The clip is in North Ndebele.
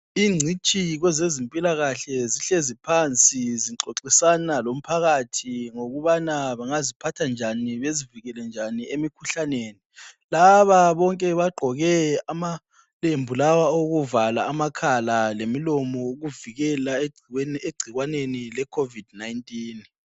Ingcitshi kwezempilakahle zihlezi phansi zixoxisana lomphakathi ngokuba bangaziphatha njani bezivikele emikhuhlaneni laba bonke bagqoke amalembu lawa okuvala amakhala lemilomo ukuvikela egcikwaneni lecovid 19